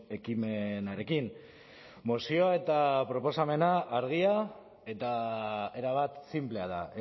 ekimenarekin mozioa eta proposamena argia eta erabat sinplea da